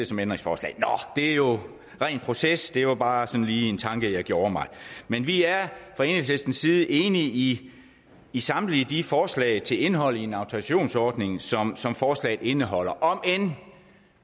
som ændringsforslag nå det er jo ren proces det var bare sådan lige en tanke jeg gjorde mig men vi er fra enhedslistens side enige i i samtlige de forslag til indhold i en autorisationsordning som som forslaget indeholder om end